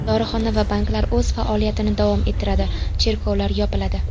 Dorixona va banklar o‘z faoliyatini davom ettiradi, cherkovlar yopiladi.